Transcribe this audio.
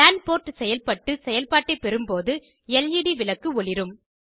லான் port செயல்பட்டு செயல்பாட்டை பெறும்போது லெட் விளக்கு ஒளிரும்